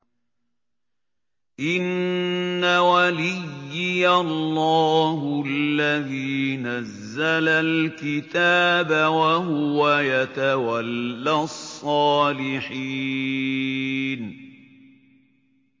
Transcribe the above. إِنَّ وَلِيِّيَ اللَّهُ الَّذِي نَزَّلَ الْكِتَابَ ۖ وَهُوَ يَتَوَلَّى الصَّالِحِينَ